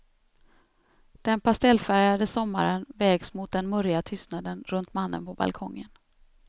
Den pastellfärgade sommaren vägs mot den murriga tystnaden runt mannen på balkongen.